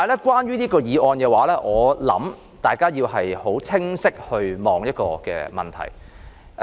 關於這項議案，我想大家要清晰地考慮一個問題。